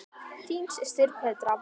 Þín systir, Petra.